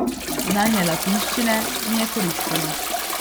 Znanje latinščine mi je koristilo.